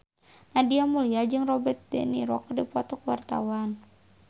Nadia Mulya jeung Robert de Niro keur dipoto ku wartawan